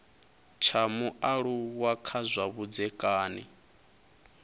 tsha mualuwa kha zwa vhudzekani